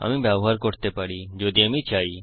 আমি ব্যবহার করতে পারি যদি আমি চাই